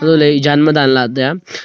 antoley jan ma danla taiya.